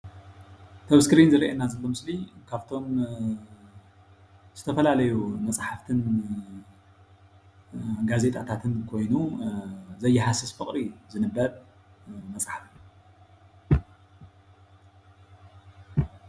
እቲ ኣብ ስክሪን ዝርአየና ምስሊ ካብቶሞ ዝተፈላለዩ መፅሓፍትን ጋዜጠታትን ኾይኑ ዘይሀስስ ፍቅሪ እዩ ዝንብበብ መፅሓፍ ።